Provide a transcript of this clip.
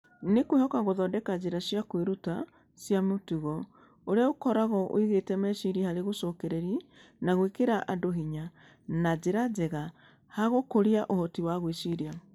Nĩ kwĩhoka gũthondeka njĩra cia kwĩruta cia mĩtugo, ũrĩa ũkoragwo ũigĩte meciria harĩ gũcokereria na gwĩkĩra andũ hinya na njĩra njega handũ ha gũkũria ũhoti wa gwĩciria.